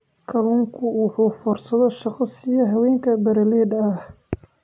Kalluunku waxa uu fursado shaqo siiya haweenka beeralayda ah.